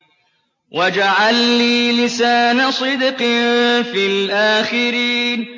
وَاجْعَل لِّي لِسَانَ صِدْقٍ فِي الْآخِرِينَ